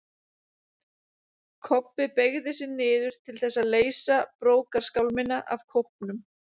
Kobbi beygði sig niður til þess að leysa brókarskálmina af kópnum.